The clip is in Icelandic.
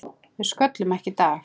Við sköllum ekki í dag!